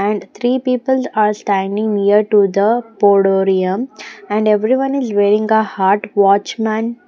And three people are standing near to the Podorium and everyone is wearing a heart watchman.